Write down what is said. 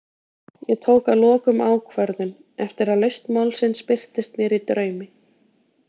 Ég tók að lokum ákvörðun, eftir að lausn málsins birtist mér í draumi.